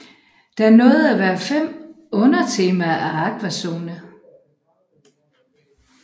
Der nåede at være fem undertemaer af Aquazone